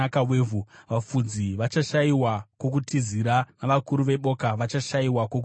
Vafudzi vachashayiwa kwokutizira, uye vakuru veboka vachashayiwa kwokutizira.